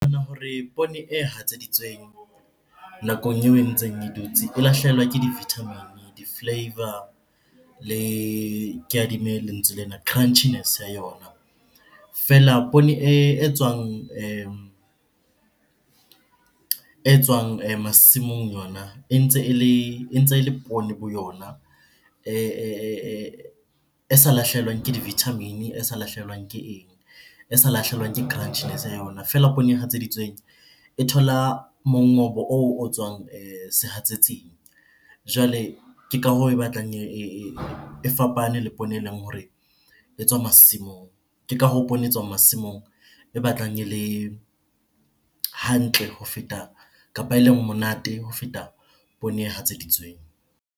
Hore poone e hatseditsweng nakong eo e ntseng e dutse, e lahlehelwa ke di-vitamin, di-flavour, le ke adimme lentswe lena, crunchiness ya yona. Feela poone e tswang e tswang masimong yona e ntse ele poone bo yona e sa lahlehelwang ke di-vitamin-e, e sa lahlehelwang ke eng, e sa lahlehelwang ke crunchiness ya yona. Feela poone e hatseditsweng e thola mongobo oo o tswang sehatsetsing. Jwale ke ka hoo e batlang e fapane le poone eleng hore e tswa masimong. Ke ka hoo poone e tswang masimong e batlang ele hantle ho feta kapa eleng monate ho feta poone e hatseditsweng.